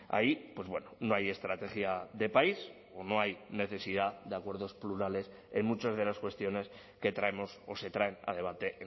ahí pues bueno no hay estrategia de país o no hay necesidad de acuerdos plurales en muchas de las cuestiones que traemos o se traen a debate